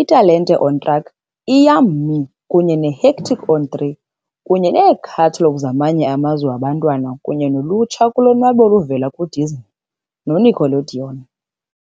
iTalente on Track, i-Yum.Me kunye neHectic on 3, kunye nekhathalogu yamanye amazwe yabantwana kunye nolutsha kulonwabo oluvela kwiDisney neNickelodeon.